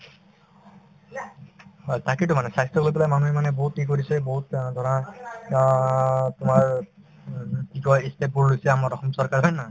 হয়, তাকেতো মানে স্বাস্থ্যক লৈ পেলাই মানুহে মানে বহুত কৰিছে বহুত অ ধৰা অ তোমাৰ উম কি কই ই step বোৰ লৈছে আমাৰ অসম চৰকাৰে হয় নে নহয়